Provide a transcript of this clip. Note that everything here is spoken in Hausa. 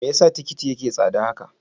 Me yasa tikiti yake tsada?